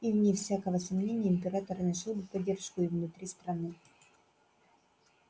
и вне всякого сомнения император нашёл бы поддержку и внутри страны